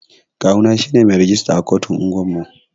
Kawu na shine mai rijista a kotun unguwan mu.